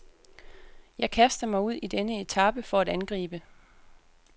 Jeg kaster mig ud i denne etape for at angribe.